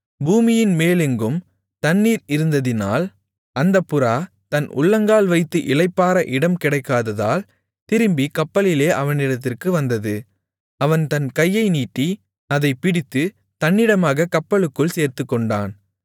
பூமியின்மேலெங்கும் தண்ணீர் இருந்ததினால் அந்தப் புறா தன் உள்ளங்கால் வைத்து இளைப்பாற இடம் கிடைக்காததால் திரும்பிக் கப்பலிலே அவனிடத்திற்கு வந்தது அவன் தன் கையை நீட்டி அதைப்பிடித்துத் தன்னிடமாகக் கப்பலுக்குள் சேர்த்துக்கொண்டான்